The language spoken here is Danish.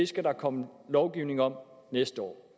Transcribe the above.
skal komme lovgivning om næste år